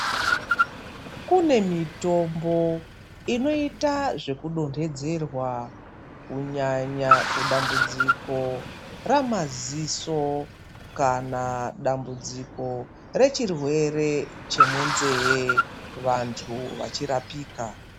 Kune mitombo inoita zveku donhedzerwa kunyanya kudambudziko ramaziso kana dambudziko rechirwere chemunzee vantu vachirapika.